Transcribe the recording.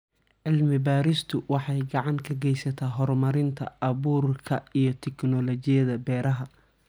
Cilmi-baaristu waxay gacan ka geysataa horumarinta abuurka iyo tignoolajiyada beeraha.